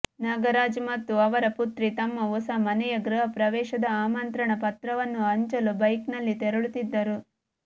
ನಾಗರಾಜ್ ಮತ್ತು ಅವರ ಪುತ್ರಿ ತಮ್ಮ ಹೊಸ ಮನೆಯ ಗೃಹಪ್ರವೇಶದ ಆಮಂತ್ರಣ ಪತ್ರವನ್ನು ಹಂಚಲು ಬೈಕ್ ನಲ್ಲಿ ತೆರಳುತ್ತಿದ್ದರು